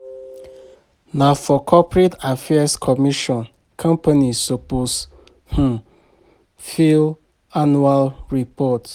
Na for Corporate Affairs Commission companies suppose um fill annual report.